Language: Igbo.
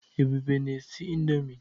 Ebube na-esi indọmii.